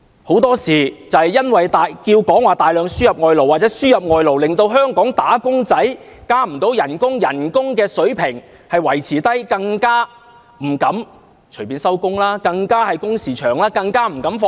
很多時，正因為有人要求大量輸入外勞，令香港"打工仔"無法加薪、工資維持低水平，令員工不敢隨意下班，工時加長，更不敢放假。